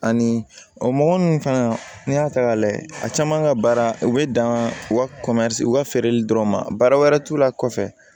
Ani o mɔgɔ nunnu fana n'i y'a ta k'a lajɛ a caman ka baara u bɛ dan u ka u ka feereli dɔrɔn ma baara wɛrɛ t'u la kɔfɛ